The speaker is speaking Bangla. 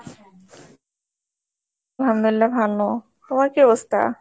ভালো, তোমার কি অবস্থা?